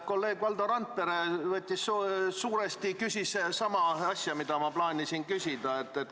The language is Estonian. Kolleeg Valdo Randpere küsis suuresti sama asja, mida ma plaanisin küsida.